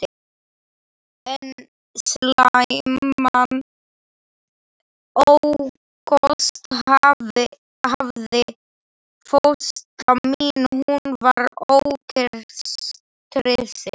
Einn slæman ókost hafði fóstra mín, hún var ógestrisin.